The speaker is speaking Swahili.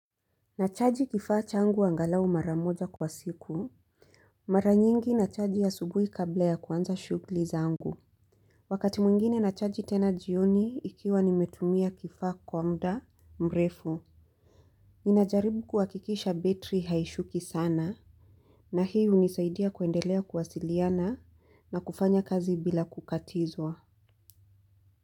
Nachaji kifaa changu angalau mara moja kwa siku. Mara nyingi nachaji asubuhi kabla ya kwanza shughuli zangu. Wakati mwingine nachaji tena jioni ikiwa nimetumia kifaa kwa muda mrefu. Ninajaribu kuhakikisha betri haishuki sana. Na hii hunisaidia kuendelea kuwasiliana na kufanya kazi bila kukatizwa.